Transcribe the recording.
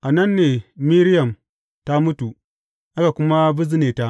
A nan ne Miriyam ta mutu, aka kuma bizne ta.